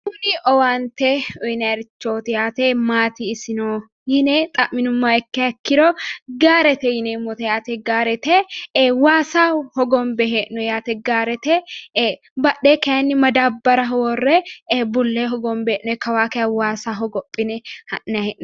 kuni owaante uyiinarichooti yaate mati isino yine xamminumoha ikkiha ikkiro, gaarete yaate gaarete waasa hogonbe hee'noonni yaate badheenni madaabbaraho worre bullee hogonbe hee'noni